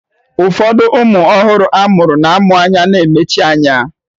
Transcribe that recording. Ụfọdụ ụmụ ọhụrụ a mụrụ na-amụ anya na-emechi anya